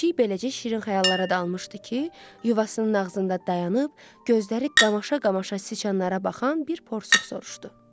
Pişik beləcə şirin xəyallara dalmışdı ki, yuvasının ağzında dayanıb gözləri qamaşa-qamaşa siçanlara baxan bir porsuq soruşdu.